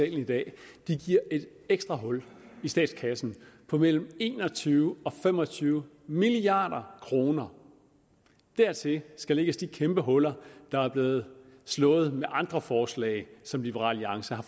i dag giver et ekstra hul i statskassen på mellem en og tyve og fem og tyve milliard kroner dertil skal lægges de kæmpe huller der er blevet slået med andre forslag som liberal alliance har